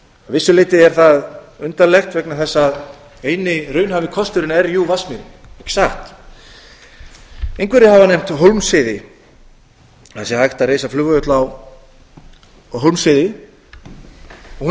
vissu leyti er það undarlegt vegna þess að eini raunhæfi kosturinn er jú í vatnsmýrinni ekki satt einhverjir hafa nefnt hólmsheiði það sé átt að reisa flugvöll á hólmsheiði hún er